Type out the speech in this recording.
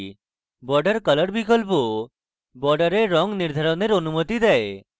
border color বিকল্প বর্ডারের রঙ নির্ধারণের অনুমতি দেয়